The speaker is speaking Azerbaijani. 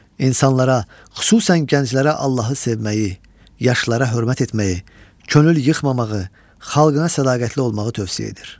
İnsanlara, xüsusən gənclərə Allahı sevməyi, yaşlılara hörmət etməyi, könül yıxmamağı, xalqına sədaqətli olmağı tövsiyə edir.